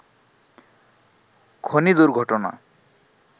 খনি দুর্ঘটনা